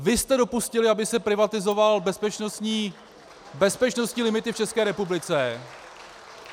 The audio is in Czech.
Vy jste dopustili, aby se privatizovaly bezpečnostní limity v České republice.